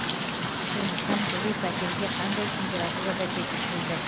сондықтан жылу пәтерге қандай температурада жеткізілді